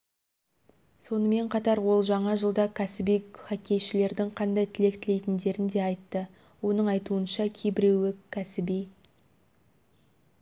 сонымен қатар ол жаңа жылда кәсіби хоккейшілердің қандай тілек тілейтіндерін де айтты оның айтуынша кейбіреуі кәсіби